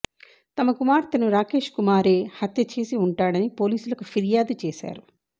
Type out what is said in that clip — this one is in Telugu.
తమ కుమార్తెను రాకేష్ కుమారే హత్య చేసి ఉంటాడని పోలీసులకు ఫిర్యాదు చేశారు